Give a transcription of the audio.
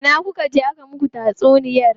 Ina kuka je aka muku tatsuniya?